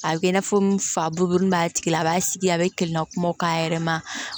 A bɛ kɛ i n'a fɔ n fa bulu b'a tigi la a b'a sigi a bɛ kiliɲa kumaw k'a yɛrɛ ma